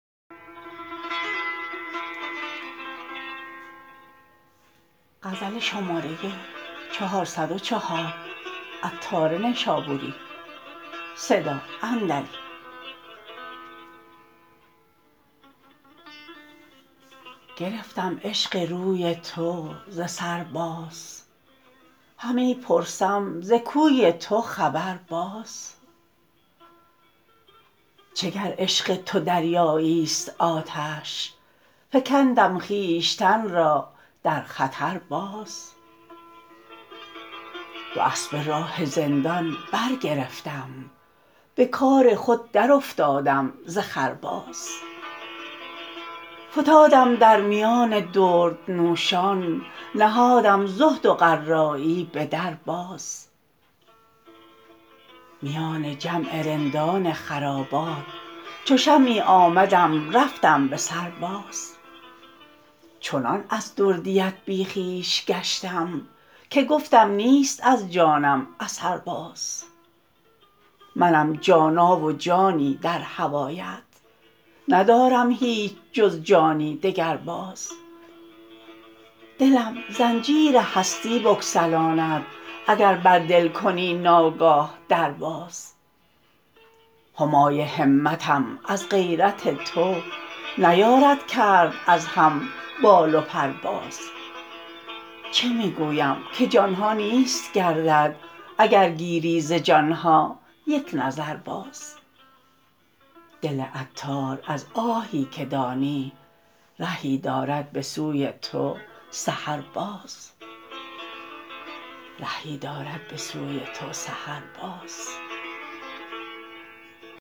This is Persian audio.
گرفتم عشق روی تو ز سر باز همی پرسم ز کوی تو خبر باز چه گر عشق تو دریایی است آتش فکندم خویشتن را در خطر باز دواسبه راه رندان برگرفتم به کار خود درافتادم ز خر باز فتادم در میان دردنوشان نهادم زهد و قرایی به در باز میان جمع رندان خرابات چو شمعی آمدم رفتم به سر باز چنان از دردیت بی خویش گشتم که گفتم نیست از جانم اثر باز منم جانا و جانی در هوایت ندارم هیچ جز جانی دگر باز دلم زنجیر هستی بگسلاند اگر بر دل کنی ناگاه در باز همای همتم از غیرت تو نیارد کرد از هم بال و پر باز چه می گویم که جانها نیست گردد اگر گیری ز جانها یک نظر باز دل عطار از آهی که دانی رهی دارد به سوی تو سحر باز